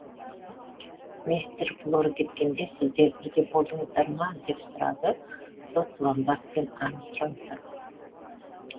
мистер блор кеткенде сіздер бірге болдыңыздар ма деп сұрады сот ломбард пен армстронгтан